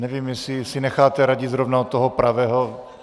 Nevím, jestli si necháváte radit zrovna od toho pravého.